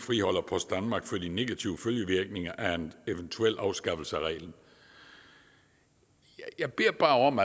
friholder post danmark for de negative følgevirkninger af en eventuel afskaffelse af reglen jeg beder bare om